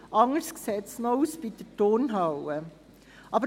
Anders sieht es noch bei der Turnhalle aus.